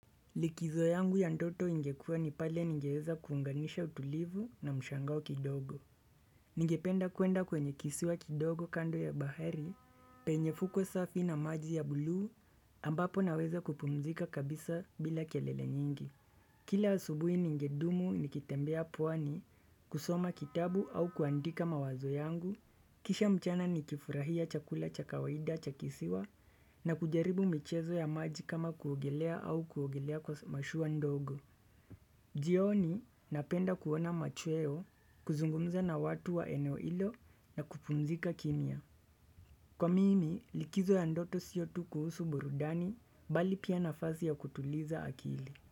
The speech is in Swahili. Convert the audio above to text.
Likizo yangu ya ndoto ingekua ni pale ningeweza kuunganisha utulivu na mshangao kidogo. Ningependa kuenda kwenye kisiwa kidogo kando ya bahari, penye fuko safi na maji ya blue ambapo naweza kupumzika kabisa bila kelele nyingi. Kila asubui ningedumu nikitembea pwani kusoma kitabu au kuandika mawazo yangu. Kisha mchana ni kifurahia chakula cha kawaida cha kisiwa na kujaribu michezo ya maji kama kuogelea au kuogelea kwa mashua ndogo. Jioni napenda kuona machweo kuzungumza na watu wa eneo ilo na kupumzika kimya. Kwa mimi likizo ya ndoto siyo tu kuhusu burudani bali pia nafasi ya kutuliza akili.